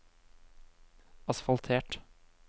asfaltert